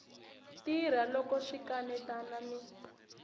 tirha loko swi kanetana ni